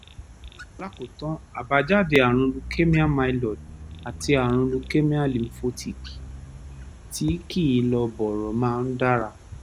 lákòótán àbájáde ààrùn leukemia myeloid àti ààrùn leukemia lymphocytic tí kìí lọ bọ̀rọ̀ máa ń dára